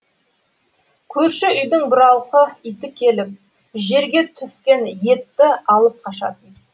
көрші үйдің бұралқы иті келіп жерге түскен етті алып қашатын